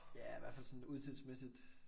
Ja i hvert fald sådan udseendemæssigt